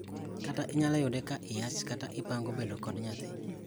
Kata inyalo yude ka iyach kata ipango bedo kod nyathi.